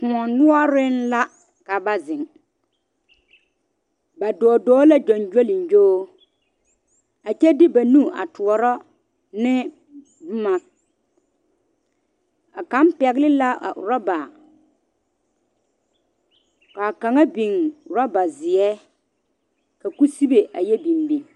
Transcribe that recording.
Kõɔ noɔre la ka ba zeŋ, ba dɔɔ la gyagolego a kyɛ de ba nu a tɔɔrɔ ne boma a kaŋ pegle la oroba kaa kaŋa biŋ oroba ziɛ ka kusibe a yɛ biŋ biŋ.